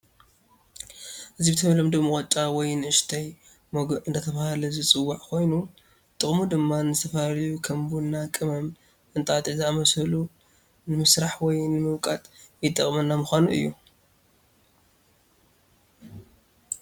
እዚ ብተለምዶ መቆጫ ወይ ንእሽተይ መጉእ እዳተባሃለ ዝፂዋዒ ኮይኑ ጥቅሙ ድማ ንዝተፈላለዩ ከም ቡና፣ ቀመም፣ እንጣጥዕ ዘአምሰሉ ነመስርሕ ወይ ንመውቀጢ የጥቀመና ምኳኑ እዩ።